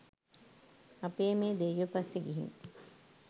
අපේ මේ දෙයියා පස්සේ ගිහින්